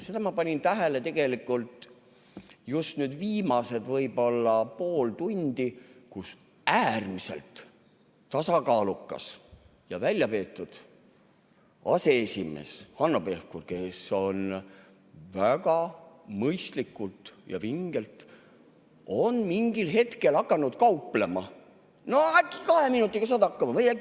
Seda ma panin tähele just nüüd viimased võib-olla pool tundi, kui äärmiselt tasakaalukas ja väljapeetud aseesimees Hanno Pevkur, kes on väga mõistlik ja vinge, mingil hetkel hakkas kauplema: "No äkki kahe minutiga saad hakkama?